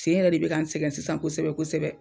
Sen yɛrɛ de bɛ ka n sɛgɛn sisan kosɛbɛ kosɛbɛ.